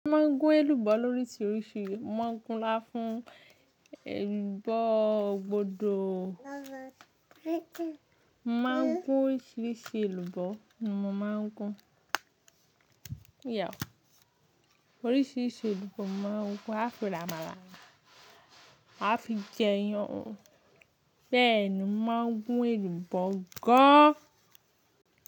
Mo máa ń gún èlùbọ́ lóríṣiríṣi. Mo máa ń gún láfún èlùbọ́ gbòdò. Mo máa ń gún oríṣiríṣi èlùbọ́. Mo máa ń gún, yeah, oríṣiríṣi èlùbọ́ mo máa ń gún. A fi ro àmàlà, a fi jẹ iyan. Bẹ́ẹ̀ ni mo máa ń gún èlùbọ́ gán.